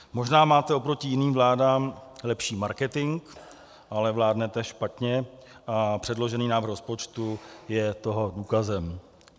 Možná máte oproti jiným vládám lepší marketing, ale vládnete špatně a předložený návrh rozpočtu je toho důkazem.